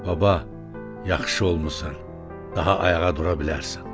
Baba, yaxşı olmusan, daha ayağa dura bilərsən.